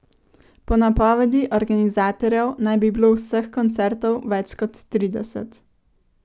Po napovedi organizatorjev naj bi bilo vseh koncertov več kot trideset.